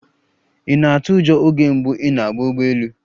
Ị̀ na-atụ ụjọ oge mbụ ị na-agba ụgbọ elu?